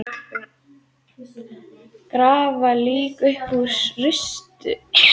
Grafa lík upp úr rústum